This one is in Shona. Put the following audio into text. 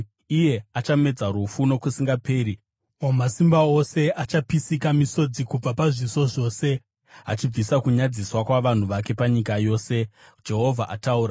iye achamedza rufu nokusingaperi. Wamasimba Ose achapisika misodzi kubva pazviso zvose; achabvisa kunyadziswa kwavanhu vake panyika yose. Jehovha ataura.